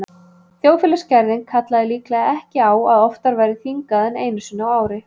Þjóðfélagsgerðin kallaði líklega ekki á að oftar væri þingað en einu sinni á ári.